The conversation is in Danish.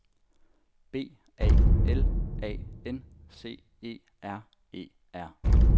B A L A N C E R E R